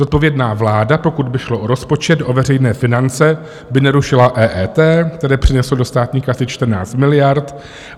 Zodpovědná vláda, pokud by šlo o rozpočet, o veřejné finance, by nerušila EET, které přineslo do státní kasy 14 miliard.